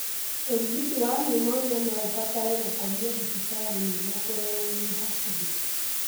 ũrigiti wa pneumonia noũbatare gũkomio thibitarĩ nĩguo kũrorwo wĩ hakũhĩ.